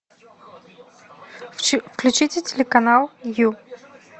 включите телеканал ю